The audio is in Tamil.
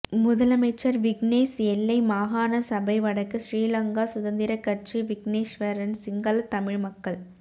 முதலமைச்சர் விக்னேஸ் எல்லை மாகாண சபை வடக்கு ஸ்ரீலங்கா சுதந்திரக்கட்சி விக்கினேஸ்வரன் சிங்கள தமிழ் மக்கள்